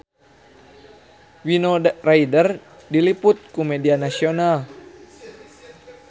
Winona Ryder diliput ku media nasional